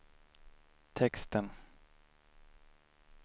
texten